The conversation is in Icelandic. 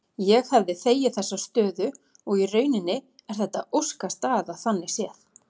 Ég hefði þegið þessa stöðu og í rauninni er þetta óskastaða þannig séð.